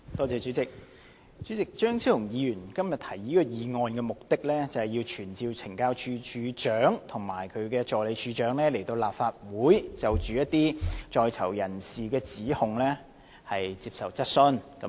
主席，張超雄議員今天提出這項議案的目的，是要傳召懲教署署長及助理署長來立法會就一些在囚人士的指控接受質詢。